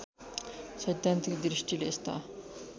सैद्धान्तिक दृष्टिले यस्ता